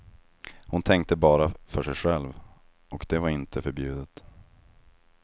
Hon tänkte bara för sig själv, och det var inte förbjudet.